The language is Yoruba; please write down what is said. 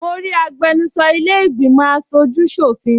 Mo rí agbẹnusọ ilẹ́ ìgbìmọ̀ aṣojú ṣọ̀fin